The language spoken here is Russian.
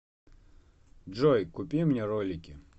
джой купи мне ролики